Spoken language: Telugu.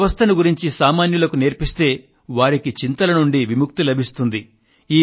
ఈ వ్యవస్థను గురించి సామాన్యులకు నేర్పిస్తే వారికి చింతల నుండి ముక్తి లభిస్తుంది